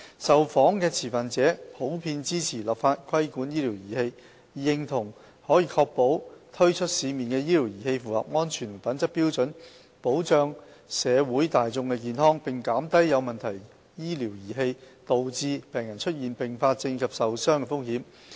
受訪的持份者均普遍支持立法規管醫療儀器，認同可確保推出市面的醫療儀器符合安全和品質標準，保障社會大眾健康，並減低有問題醫療儀器導致病人出現併發症及受傷的風險。